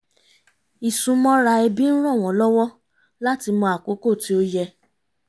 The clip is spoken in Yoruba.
ìsúnmọ́ra ẹbí ń ràn wọ́n lọwọ láti mọ àkókò tí ó yẹ